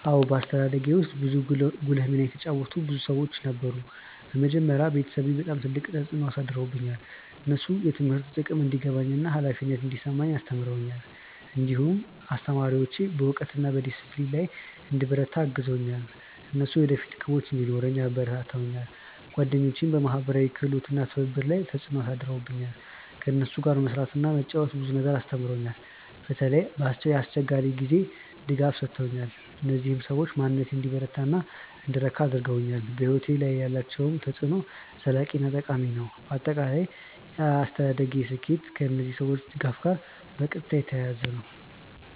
አዎን፣ በአስተዳደጌ ውስጥ ጉልህ ሚና የተጫወቱ ብዙ ሰዎች ነበሩ። በመጀመሪያ ቤተሰቤ በጣም ትልቅ ተፅዕኖ አሳድረውብኛል። እነሱ የትምህርት ጥቅም እንዲገባኝ እና ኃላፊነት እንዲሰማኝ አስተምረውኛል። እንዲሁም አስተማሪዎቼ በእውቀት እና በዲሲፕሊን ላይ እንድበረታ አግዘውኛል። እነሱ የወደፊት ግቦች እንዲኖረኝ አበረታተውኛል። ጓደኞቼም በማህበራዊ ክህሎት እና በትብብር ላይ ተፅዕኖ አሳድረውብኛል። ከእነሱ ጋር መስራት እና መጫወት ብዙ ነገር አስተምሮኛል። በተለይ የአስቸጋሪ ጊዜ ድጋፍ ሰጥተውኛል። እነዚህ ሰዎች በማንነቴን እንዲበረታ እና እንድረካ አድርገውኛል። በሕይወቴ ላይ ያላቸው ተፅዕኖ ዘላቂ እና ጠቃሚ ነው። በአጠቃላይ የአስተዳደጌ ስኬት ከእነዚህ ሰዎች ድጋፍ ጋር በቀጥታ የተያያዘ ነው።